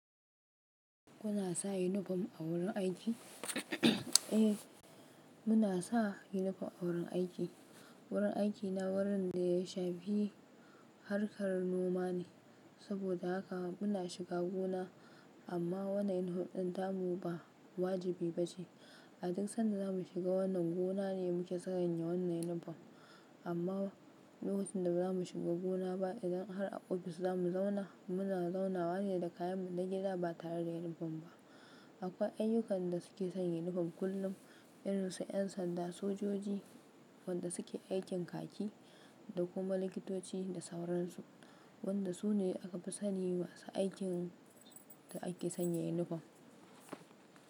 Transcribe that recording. Kuna sa yunifom a wurin aiki? Eh, muna sa yunifom a wurin aiki. Wurin aikina wurin da ya shafi harkar noma ne, saboda haka muna shiga gona, amma wannan yunifom ɗin tamu ba wajibi ba ce. A duk sanda za mu shiga wannan gona ne muke sanya wannan yunifom, amma lokacin da ba za mu shiga gona ba idan har a ofis za mu zauna, mu na zaunawa ne da kayanmu na gida ba tare da yunifom ba. Akwai ayyukan da suke sanya yunifom kullum, irin su 'yan sanda, sojoji, wadanda suke aikin kaki da kuma likitoci da sauransu, wadanda su ne aka fi sani masu aikin da ake sanya yunifom.